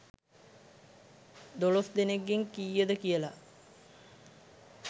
දොළොස්‌ දෙනෙක්‌ගෙන් කීයද කියලා